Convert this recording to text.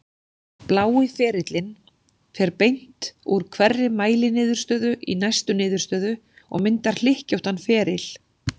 Blái ferillinn fer beint úr hverri mæliniðurstöðu í næstu niðurstöðu og myndar hlykkjóttan feril.